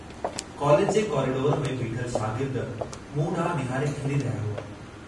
College जे corridor में बीठल शागिर्द मूं डांहु निहारे खिली रहिया हुआ।